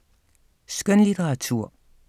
Skønlitteratur